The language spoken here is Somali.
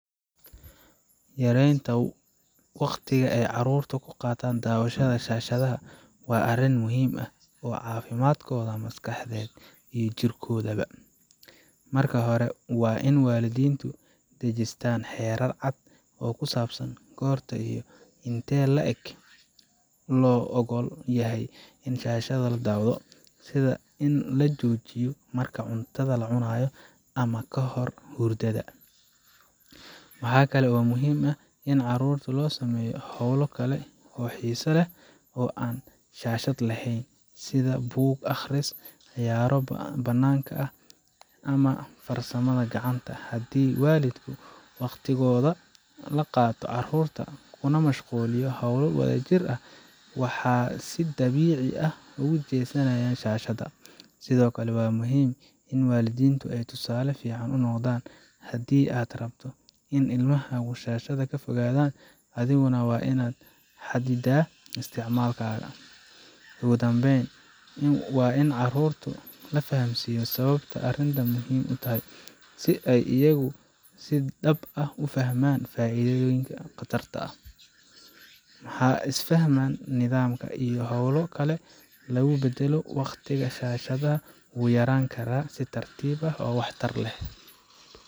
Yaraynta waqtiga ay carruurtu ku qaataan daawashada shaashadaha waa arrin muhiim u ah caafimaadkooda maskaxeed iyo jirkoodaba. Marka hore, waa in waalidiintu dejistaan xeerar cad oo ku saabsan goorta iyo intee le’eg loo oggol yahay in shaashadda la daawado sida in la joojiyo marka cuntada la cunayo, ama kahor hurdada. Waxaa kale oo muhiim ah in carruurta loo sameeyo hawlo kale oo xiiso leh oo aan shaashad laheyn sida buug akhris, ciyaaro bannaanka ah, ama farsamada gacanta. Haddii waalidku waqtigooda la qaato carruurta kuna mashquulo hawlo wadajir ah, waxay si dabiici ah uga jeesanayaan shaashadda. Sidoo kale, waa muhiim in waalidiintu iyagu tusaale fiican u noqdaan. Haddii aad rabto in ilmahaagu shaashadda ka fogaadan, adiguna waa inaad xadiddaa isticmaalkaaga. Ugu dambayn, waa in carruurta la fahamsiiyaa sababta arrintani muhiim u tahay si ay iyagu si dhab ah u fahmaan faa’iidada iyo khatarta. Marka isfaham, nidaam, iyo hawlo kale lagu beddelo, waqtiga shaashadda wuu yaraan karaa si tartiib ah oo waxtar leh.